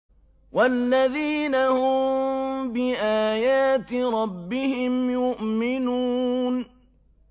وَالَّذِينَ هُم بِآيَاتِ رَبِّهِمْ يُؤْمِنُونَ